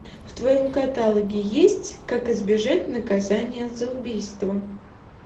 в твоем каталоге есть как избежать наказание за убийство